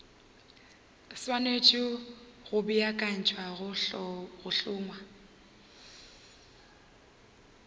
swanetše go beakanyetša go hlongwa